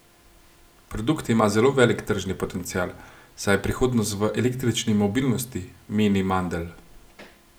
Produkt ima zelo velik tržni potencial, saj je prihodnost v električni mobilnosti, meni Mandelj.